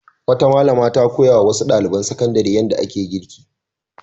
Wata malama ta koya wa wasu ɗaliban sakandare yadda ake girki.